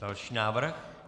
Další návrh?